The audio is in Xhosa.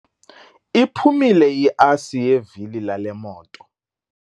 Iphumile iasi yevili lale moto.